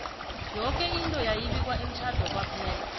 yoke into yayi bikwa emtjhade kwaphela